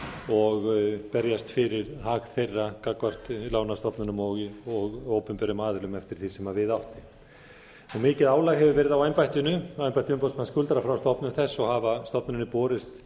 og berjast fyrir hag þeirra gagnvart lánastofnunum og opinberum aðilum eftir því sem við átti mikið álag hefur verið á embætti umboðsmanns skuldara frá stofnun þess og hafa stofnuninni borist